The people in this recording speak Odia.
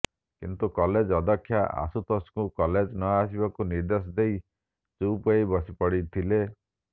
କିନ୍ତୁ କଲେଜ୍ ଅଧ୍ୟକ୍ଷା ଆଶୁତୋଷଙ୍କୁ କଲେଜ୍ ନଆସିବାକୁ ନିର୍ଦ୍ଦେଶ ଦେଇ ଚୁପ୍ ହୋଇ ବସିପଡଇଥିଲେ